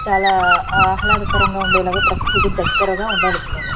చాలా ఆహ్లాదకరంగా ఉండేలాగా ప్రకృతికి దగ్గరగా ఉండాలి ఎప్పుడైనా.